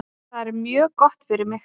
Það er mjög gott fyrir mig.